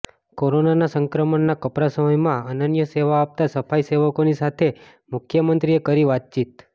કોરોનાના સંક્રમણના કપરા સમયમાં અનન્ય સેવા આપતા સફાઇસેવકોની સાથે મુખ્યમંત્રીએ કરી વાતચીત